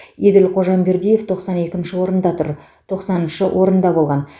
еділ қожамбердиев тоқсан екінші орында тұр тоқсаныншы орында болған